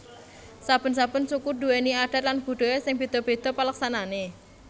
Saben saben suku duwèni adat lan budhaya sing bèdha bèdha paleksanané